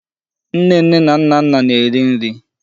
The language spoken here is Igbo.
Nnenne na Nnanna na-eri nri.